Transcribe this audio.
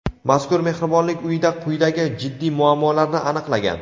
mazkur mehribonlik uyida quyidagi jiddiy muammolarni aniqlagan.